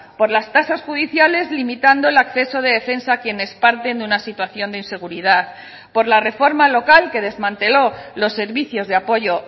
por las tasas judiciales limitando el acceso de defensa a quienes parten de una situación de inseguridad por la reforma local que desmanteló los servicios de apoyo